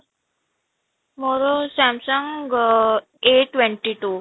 ମୋର Samsung A twenty two